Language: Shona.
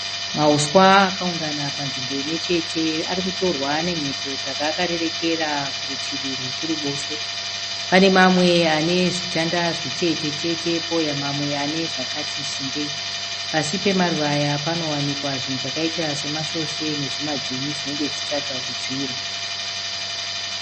Mauswa akaungana panzvimbo imwechete. Ari kutorwa nemhepo saka akarerekera kurutivi rwekuruboshwe. Pane amwe ane zvitanda zvitete-tete poita amwe ane zvakati simbei. Pasi pemaruva aya panowanikwa zvinhu zvakaita semasvosve nezvimadzvinyu zvinenge zvichitsvaga kudziirwa.